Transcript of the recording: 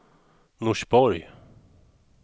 Norsborg